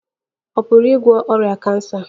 Ọrịa kansa ọ̀ pụrụ ịgwọ ọrịa kansa?